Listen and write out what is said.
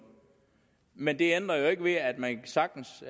men det ændrer jo ikke ved at man sagtens